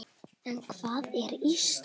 En hvað er Ísland?